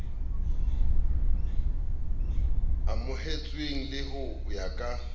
amohetsweng le ho ya ka